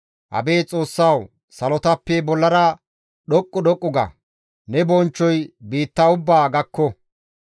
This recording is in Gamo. Abeet Xoossawu! Salotappe bollara dhoqqu dhoqqu ga! Ne bonchchoy biitta ubbaa gakko.